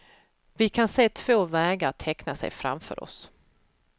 Vi kan se två vägar teckna sig framför oss.